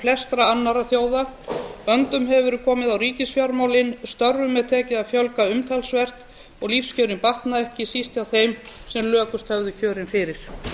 flestra annarra þjóða böndum hefur verið komið á ríkisfjármálin störfum er tekið að fjölga umtalsvert og lífskjörin batna ekki síst hjá þeim sem lökust höfðu kjörin fyrir